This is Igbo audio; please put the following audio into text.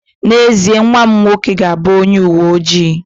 N'ezie, nwa m nwoke ga-abụ onye uwe ojii